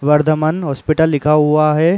Vardhaman hospital लिखा हुआ है।